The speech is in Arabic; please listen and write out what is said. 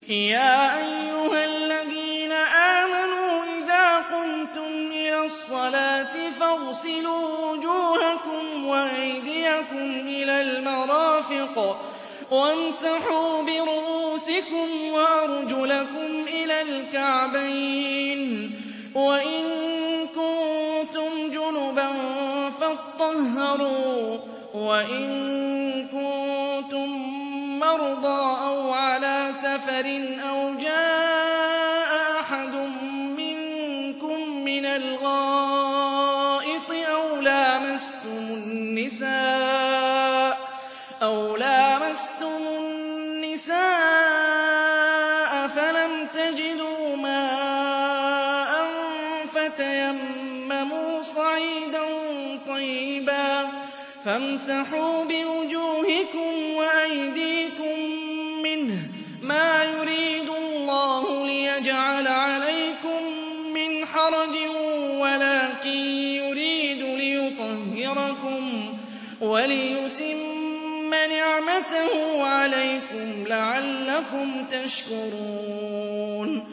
يَا أَيُّهَا الَّذِينَ آمَنُوا إِذَا قُمْتُمْ إِلَى الصَّلَاةِ فَاغْسِلُوا وُجُوهَكُمْ وَأَيْدِيَكُمْ إِلَى الْمَرَافِقِ وَامْسَحُوا بِرُءُوسِكُمْ وَأَرْجُلَكُمْ إِلَى الْكَعْبَيْنِ ۚ وَإِن كُنتُمْ جُنُبًا فَاطَّهَّرُوا ۚ وَإِن كُنتُم مَّرْضَىٰ أَوْ عَلَىٰ سَفَرٍ أَوْ جَاءَ أَحَدٌ مِّنكُم مِّنَ الْغَائِطِ أَوْ لَامَسْتُمُ النِّسَاءَ فَلَمْ تَجِدُوا مَاءً فَتَيَمَّمُوا صَعِيدًا طَيِّبًا فَامْسَحُوا بِوُجُوهِكُمْ وَأَيْدِيكُم مِّنْهُ ۚ مَا يُرِيدُ اللَّهُ لِيَجْعَلَ عَلَيْكُم مِّنْ حَرَجٍ وَلَٰكِن يُرِيدُ لِيُطَهِّرَكُمْ وَلِيُتِمَّ نِعْمَتَهُ عَلَيْكُمْ لَعَلَّكُمْ تَشْكُرُونَ